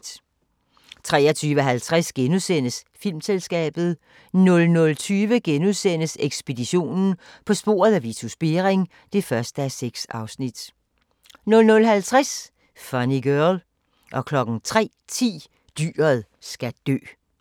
23:50: Filmselskabet * 00:20: Ekspeditionen - på sporet af Vitus Bering (1:6)* 00:50: Funny Girl 03:10: Dyret skal dø